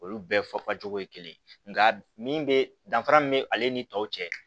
Olu bɛɛ fɔcogo ye kelen ye nka min bɛ danfara min bɛ ale ni tɔw cɛ